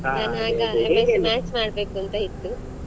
ನಾನ್ ಆಗ ಮಾಡ್ಬೇಕಂತ ಇತ್ತು